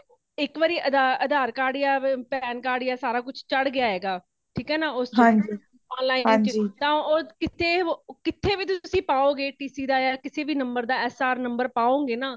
ਇਕ ਵਾਰੀ ਅਧਾਰ card ਯਾ pan card ਯਾ ਸਾਰਾ ਕੁਛ ਚਾੜ ਗਯਾ ਹੇਗਾ | ਠੀਕ ਹੈ ਨਾ ਉਸ ਥਾਂ online ਚ ਹਾਂਜੀ ਨਾ ਤੁਸੀਂ ਕਿਥੇ ਵੀ ਤੁਸੀਂ ਪਾਓਗੇ ਕਿਸੇ ਵੀ no ਦਾ SR no ਪਾਓਗੇ ਨਾ